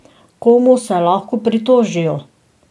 Komu se lahko pritožijo?